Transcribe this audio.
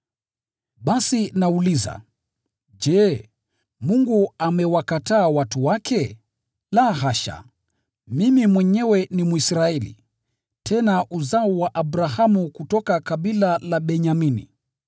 Basi nauliza: Je, Mungu amewakataa watu wake? La, hasha! Mimi mwenyewe ni Mwisraeli, tena uzao wa Abrahamu kutoka kabila la Benyamini.